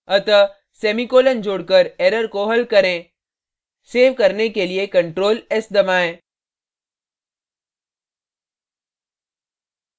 अतः semicolon जोड़कर error को हल करें so करने के लिए ctrl s दबाएँ